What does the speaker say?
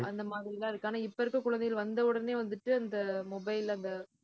அந்த மாதிரி எல்லாம் இருக்கு, ஆனா இப்ப இருக்கிற குழந்தைகள் வந்த உடனே வந்துட்டு, அந்த mobile அந்த